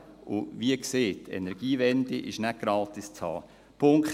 Und wie gesagt: Die Energiewende ist nicht gratis zu haben.